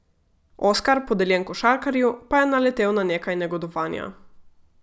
Oskar, podeljen košarkarju, pa je naletel na nekaj negodovanja.